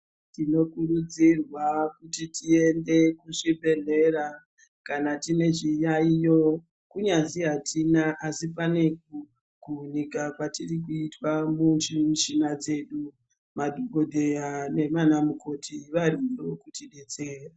Tinokurudzirwa kuti tiiende kuzvibhehlera kana tine zviyaiyo, kunyazi atina asi pane kudika kwatiri kuitwa mumuch8na dzedu madhokoteya nana mukoti variyo kutidetsera.